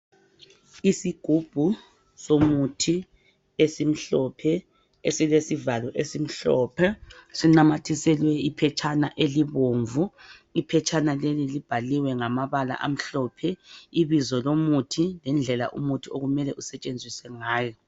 Isigubhu somuthi esimhlophe esilesivalo esimhlophe. Sinamathiselwe iphetshana elibomvu, iphetshana leli libhaliwe ngamabala amhlophe ibizo lomuthi lendlela umuthi okumele usetshenziswe ngayo.